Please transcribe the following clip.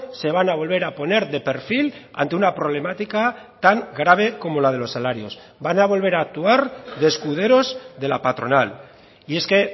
se van a volver a poner de perfil ante una problemática tan grave como la de los salarios van a volver a actuar de escuderos de la patronal y es que